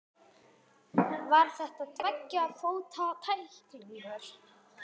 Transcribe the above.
Var þetta tveggja fóta tækling?